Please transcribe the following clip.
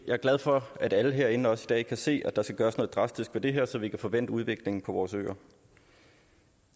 jeg er glad for at alle herinde også kan se at der skal gøres noget drastisk ved det her så vi kan få vendt udviklingen på vores øer